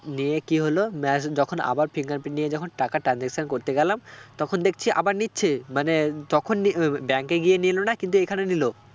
নিয়ে কি হলো যখন আবার fingerprint নিয়ে যখন টাকা transaction করতে গেলাম তখন দেখছি আবার নিচ্ছে মানে তখন bank এ গিয়ে নিলো না কিন্তু এখানে নিলো